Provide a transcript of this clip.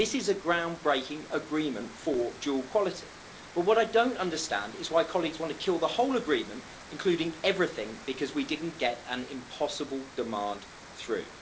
This is a ground breaking agreement for dual quality, but what I don't understand is why colleagues want to kill the whole agreement, including everything, because we didn't get an impossible demand through.